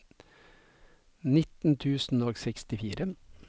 nitten tusen og sekstifire